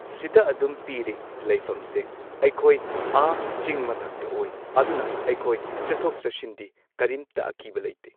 ꯁꯤꯗ ꯑꯗꯨꯝ ꯄꯤꯔꯦ ꯂꯩꯐꯝꯁꯦ ꯑꯩꯈꯣꯏ ꯑꯥ ꯆꯤꯡ ꯃꯊꯛꯇ ꯑꯣꯏ ꯑꯗꯨꯅ ꯑꯩꯈꯣꯏ ꯆꯠꯊꯣꯛ ꯆꯠꯁꯤꯟꯗꯤ ꯀꯔꯤꯝꯇ ꯑꯀꯤꯕ ꯂꯩꯇꯦ꯫